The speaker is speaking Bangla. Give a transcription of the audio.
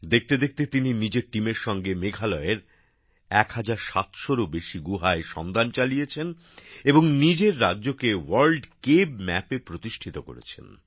দেখতে দেখতে তিনি নিজের দলের সঙ্গে মেঘালয়ের ১৭০০রও বেশি গুহায় সন্ধান চালিয়েছেন এবং নিজের রাজ্যকে ওয়ার্ল্ড কেভ ম্যাপে প্রতিষ্ঠিত করেছেন